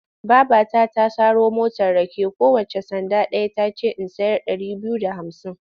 Babata ta saro motar rake kowacce sanda ɗaya ta ce in sayar ɗari biyu da hamsin.